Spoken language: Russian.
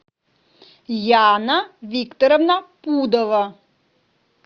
яна викторовна пудова